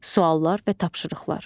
Suallar və tapşırıqlar.